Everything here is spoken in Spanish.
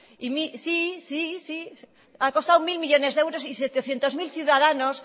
sí sí sí ha costado mil millónes de euros y setecientos mil ciudadanos